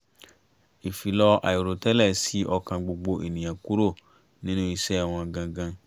ìfilọ̀ aìrò tẹ́lẹ̀ ṣí ọkàn gbogbo ènìyàn kúrò nínú iṣẹ́ wọn gangan